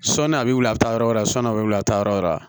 Sɔni a bɛ wuli a bɛ taa yɔrɔ wɛrɛ sɔ na a bɛ wili a taa yɔrɔ wɛrɛ